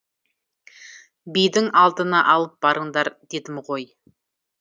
бидің алдына алып барыңдар дедім гой